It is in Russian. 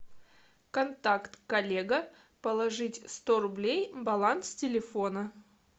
контакт коллега положить сто рублей баланс телефона